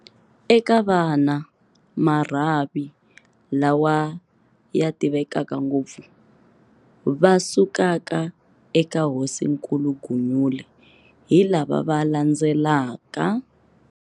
Eka vana, marhavi, lawa ya tivekaka ngopfu va sukaka eka Hosinkulu Gunyule, hi lava va landzelaka.